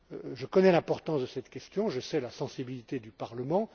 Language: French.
Je connais l'importance de cette question et la sensibilité du Parlement.